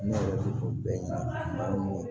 Ne yɛrɛ tɛ ɲina maa min kɔ